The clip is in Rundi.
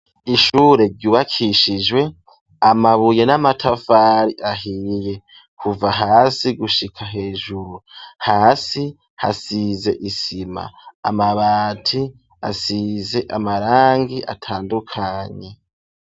Ishure ryubakishijwe amabuye n'amatafari ahiye kuva hasi gushika hejuru, hasi hasize isima, amabati asize amarangi atandukanye.